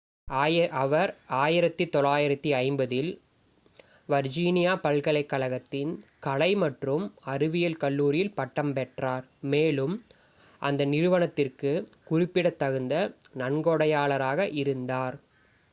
அவர் 1950-இல் வர்ஜீனியா பல்கலைக்கழகத்தின் கலை மற்றும் அறிவியல் கல்லூரியில் பட்டம் பெற்றார் மேலும் அந்த நிறுவனத்திற்குக் குறிப்பிடத்தகுந்த நன்கொடையாளராக இருந்தார்